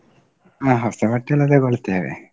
ಹ ಹೊಸ ಬಟ್ಟೆಯೆಲ್ಲ ತೆಗೊಳ್ತೆವೆ.